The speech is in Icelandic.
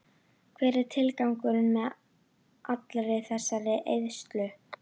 Hver var tilgangurinn með allri þessari eyðslu?